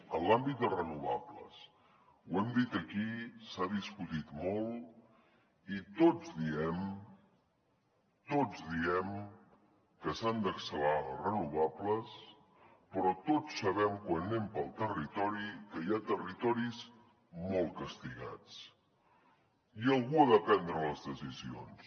en l’àmbit de renovables ho hem dit aquí s’ha discutit molt i tots diem tots ho diem que s’han d’accelerar les renovables però tots sabem quan anem pel territori que hi ha territoris molt castigats i algú ha de prendre les decisions